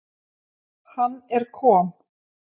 Hann er kom